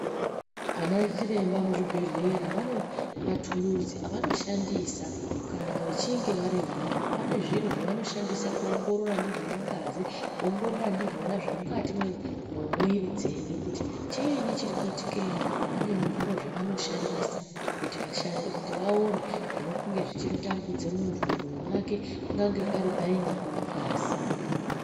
Ana chiremba muzvibhedhlera vane mathuluzi avanoshandisa kana achinge varimwo. Vane zviro zvavanoshandisa kuongorora ndizvona ngazi. Kuongorora ndizvona zvemukati mwemwiri dzedu kuti chiinyi chiri kuitikemwo. Pane zviro zvavanoshandisa kuti vaone zvinongana zvichitambudza muntu mumwiri mwake. Kunyange pari painyi, nyange mungazi.